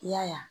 I y'a ye